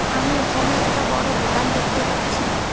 আমি এখানে একটা বড় দোকান দেখতে পাচ্ছি।